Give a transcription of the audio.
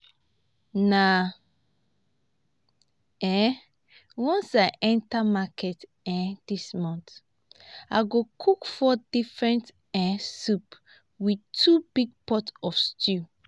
na um once i go enter market um dis month. i go cook four different um soup with two big pot of stew